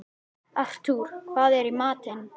Artúr, hvað er í matinn?